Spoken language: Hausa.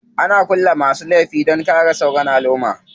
Ana kulle masu laifi dan a kare sauran alumma.